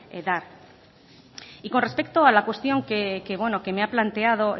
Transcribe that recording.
dar y con respecto a la cuestión que me ha planteado